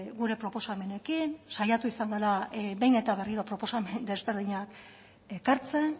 gure proposamenekin saiatu izan gara behin eta berriro proposamen desberdinak ekartzen